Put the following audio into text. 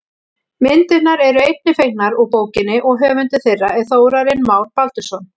Myndirnar eru einnig fengnar úr bókinni og höfundur þeirra er Þórarinn Már Baldursson.